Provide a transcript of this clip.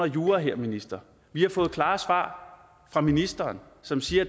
jura her minister vi har fået klare svar fra ministeren som siger